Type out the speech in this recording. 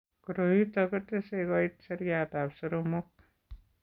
Koroi ito ko tese koit seriatab soromok .